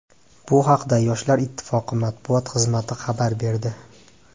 Bu haqda Yoshlar ittifoqi matbuot xizmati xabar berdi .